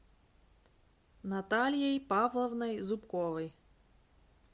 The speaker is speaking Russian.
натальей павловной зубковой